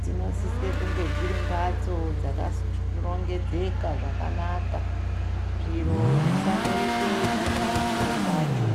dzino sisa kunge dziri mbatso dzaka rongedzeka zvakanaka zviro zvisandoite chimwe ne chimwe pacho.